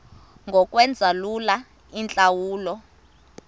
ngokwenza lula iintlawulo